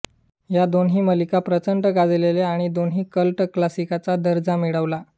या दोन्ही मालिका प्रचंड गाजल्या आणि दोन्हींनी कल्ट क्लासिकचा दर्जा मिळवला